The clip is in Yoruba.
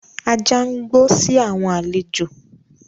Ajá ń gbó si àwọn àlejò.